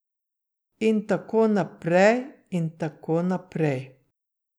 In tako naprej in tako naprej.